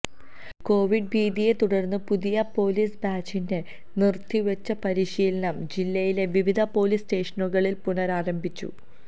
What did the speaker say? Covid ഭീതിയെ തുടര്ന്ന് പുതിയ പോലീസ് ബാച്ചിന്റെ നിര്ത്തിവച്ച പരിശീലനം ജില്ലയിലെ വിവിധ പോലീസ് സ്റ്റേഷനുകളില് പുനരാരംഭിച്ചു